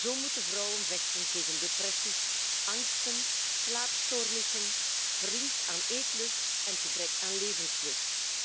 Zo moeten vrouwen vechten tegen depressies, angsten, slaapstoornissen, verlies aan eetlust en gebrek aan levenslust.